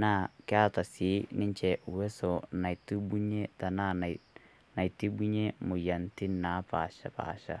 Naa keeta si ninchee uweso natibunye tanaa natibunye moyianitin napaaspasha.